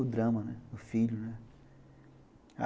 O drama, né, do filho, né.